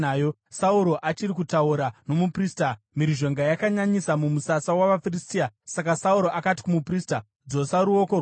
Sauro achiri kutaura nomuprista, mhirizhonga yakanyanyisa mumusasa wavaFiristia. Saka Sauro akati kumuprista, “Dzosa ruoko rwako.”